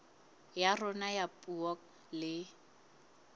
ya rona ya puo le